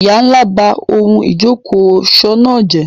Ìyá ńlá ba ohun ìjókòó ọ̀ṣọ́ náà jẹ́.